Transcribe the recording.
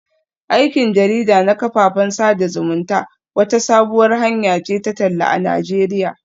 Aikin jarida na kafafen sada zumunta wata sabuwar hanya ce ta talla a Najeriya